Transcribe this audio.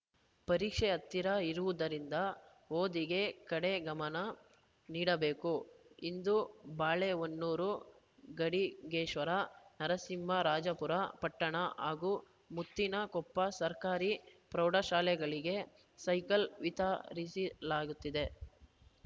ಪರೀಕ್ಷೆ ಹತ್ತಿರ ಇರುವುದರಿಂದ ಓದಿನ ಕಡೆ ಗಮನ ನೀಡಬೇಕು ಇಂದು ಬಾಳೆಹೊನ್ನೂರು ಗಡಿಗೇಶ್ವರ ನರಸಿಂಹರಾಜಪುರ ಪಟ್ಟಣ ಹಾಗೂ ಮುತ್ತಿನಕೊಪ್ಪ ಸರ್ಕಾರಿ ಪ್ರೌಢಶಾಲೆಗಳಿಗೆ ಸೈಕಲ್‌ ವಿತರಿಸಲಾಗುತ್ತಿದೆ